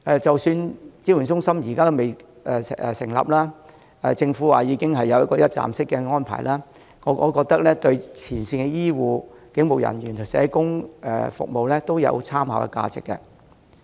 即使支援中心尚未成立，而政府又表示已有一個一站式安排，我覺得這份《指引》對前線醫護、警務人員和社工都有參考價值。